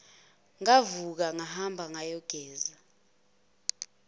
ngavuka ngahamba ngayogeza